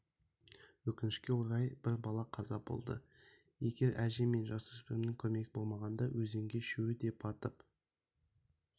өкінішке орай бір бала қаза болды егер әже мен жасөспірімнің көмегі болмағанда өзенге үшеуі де батып